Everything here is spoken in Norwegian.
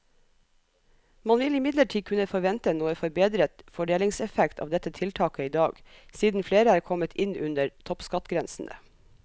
Man vil imidlertid kunne forvente noe forbedret fordelingseffekt av dette tiltaket i dag, siden flere er kommet inn under toppskattgrensene.